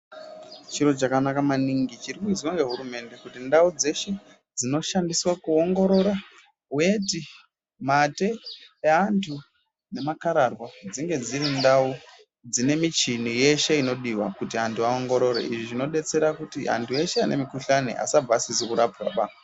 Chiro chakanaka maningi chirrikuizwa nehurumende kuti ndaudzeshe dzinoshandiswa kuongorora weti mate yeantu nemakarahwa dzinge dziri ndau ne michini yeshe inodiwa kuti antu vaongorore izvi zvinodetsera kuti antu ese ane mukuhlani asabva asizi kuongororwa.